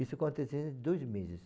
Isso aconteceu em dois meses.